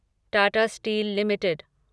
Tata Steel limited